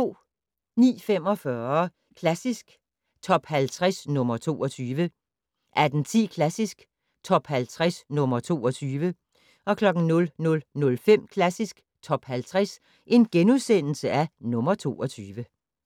09:45: Klassisk Top 50 - nr. 22 18:10: Klassisk Top 50 - nr. 22 00:05: Klassisk Top 50 - nr. 22 *